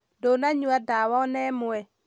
Ndũnanyua dawa ónemwe?